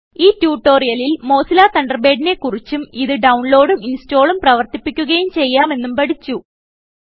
ഈ ട്യൂട്ടോറിയലിൽ മോസില്ല തണ്ടർബേഡിനെ കുറിച്ചും ഇത് ഡൌൺലോഡും ഇൻസ്റ്റാളും പ്രവർത്തിപ്പിക്കുകയും ചെയ്യാമെന്നും പഠിച്ചു